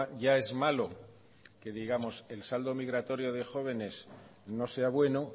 ya es malo que digamos el saldo migratorio de jóvenes no sea bueno